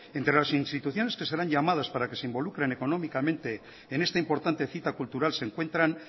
entre las instituciones que serán llamadas para que se involucren económicamente en esta importante cita cultural se encuentran